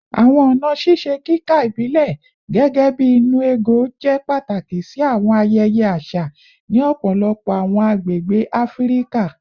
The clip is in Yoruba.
Awọn ọna ṣiṣe kika ibilẹ, gẹgẹbi “nnu ego,” jẹ pataki si awọn ayẹyẹ aṣa ni ọpọlọpọ awọn agbegbe Afirika